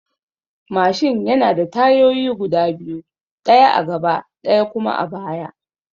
Mashin yana da tayoyi guda biyu: ɗaya a gaba ɗaya kuma a baya